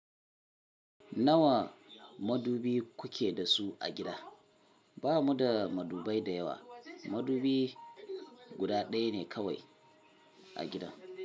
Nawa madubi kuke da su a gida? Ba mu da madubai da yawa. Madubi guda ɗaya ne kawai a gidan.